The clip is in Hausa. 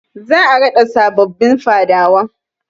Za a raɗa sabobbin Fadawa.